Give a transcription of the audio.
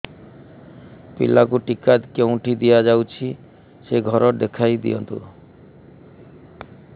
ପିଲାକୁ ଟିକା କେଉଁଠି ଦିଆଯାଉଛି ସେ ଘର ଦେଖାଇ ଦିଅନ୍ତୁ